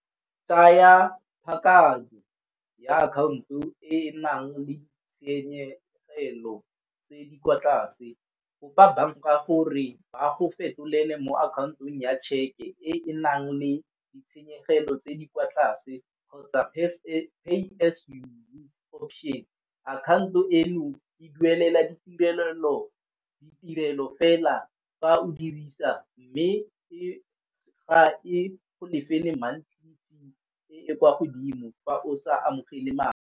Tsaya ya account-o e e nang le tshenyegelo tse di kwa tlase. Kopa banka gore ba go fetolele mo akhaontong ya tšheke e e nang le ditshenyegelo tse di kwa tlase kgotsa option. Akhanto eno e duelela ditumelelo, ditirelo fela fa o dirisa mme e ga e go lefele monthly fee e e kwa godimo fa o sa amogele madi.